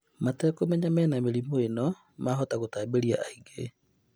Matekũmenya ati mena mĩrimũ ĩno, mahota gũtambĩria angĩ